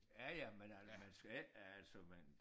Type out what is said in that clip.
Ja ja men øh man skal ikke øh altså man